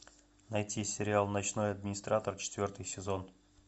найти сериал ночной администратор четвертый сезон